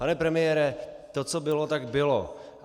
Pane premiére, to, co bylo, tak bylo.